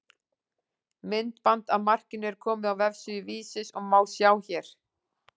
Myndband af markinu er komið á vefsíðu Vísis og má sjá hér.